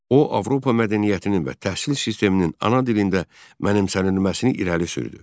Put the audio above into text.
O Avropa mədəniyyətinin və təhsil sisteminin ana dilində mənimsənilməsini irəli sürdü.